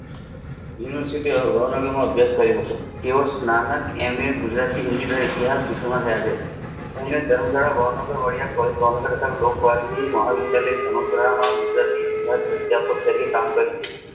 university ભાવનગરમાં અભ્યાસ કર્યો હતો તેઓ તેઓ સ્નાનક એમિયત ગુજરાતી હિન્દી ઇતિહાસ વિષયોમાં ગય છે તેમને લોકપ્રાચી મહા વિદ્યાલય અદ્યાપક્ષ તરીકે કામ કર્યું છે